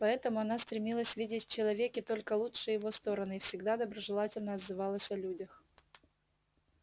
поэтому она стремилась видеть в человеке только лучшие его стороны и всегда доброжелательно отзывалась о людях